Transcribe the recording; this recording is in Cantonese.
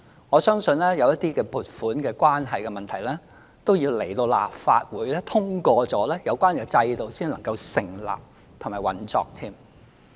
我相信有一些關係到撥款的問題，是要待立法會通過之後，有關制度才能夠成立和運作。